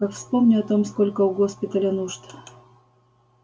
как вспомню о том сколько у госпиталя нужд